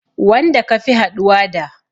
Wanda ka fi haɗuwa da